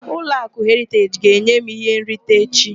Ụlọakụ Heriteji ga-enye m ihe nrita echi.